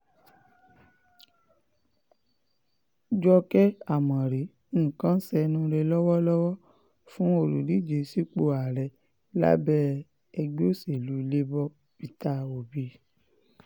jókè ámórì nǹkan ń ṣẹnuure lọ́wọ́lọ́wọ́ fún olùdíje sípò ààrẹ lábẹ́ ẹgbẹ́ òṣèlú labour peter obi